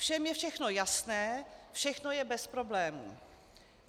Všem je všechno jasné, všechno je bez problémů.